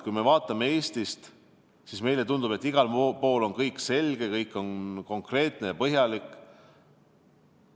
Kui me vaatame Eestist, siis meile tundub, et igal pool on kõik selge, kõik on konkreetne ja põhjalik.